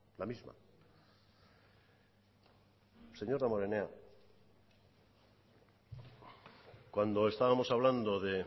la misma señor damborenea cuando estábamos hablando de